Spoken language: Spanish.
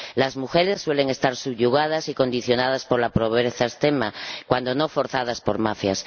Las mujeres suelen estar subyugadas y condicionadas por la pobreza extrema, cuando no forzadas por mafias.